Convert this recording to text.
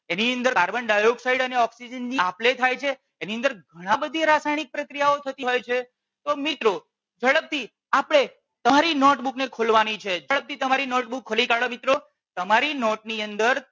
એની અંદર carbon dioxide અને oxygen ની આપલે થાય છે એની અંદર ઘણી બધી રાસાયણિક પ્રક્રિયાઓ થતી હોય છે તો મિત્રો ઝડપ થી આપણે તમારી નોટબૂક ને ખોલવાની છે ઝડપ થી તમારી નોટબૂક ખોલી કાઢો મિત્રો. તમારી નોટ ની અંદર